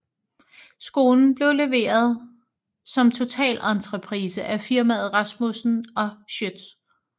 Skolen blev leveret som totalentreprise af firmaet Rasmussen og Schiøtz